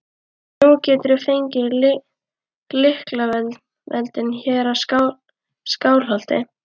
Nú geturðu fengið lyklavöldin hér í Skálholti!